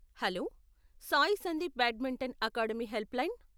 Hello! Sai Sandeep badminton academy helpline .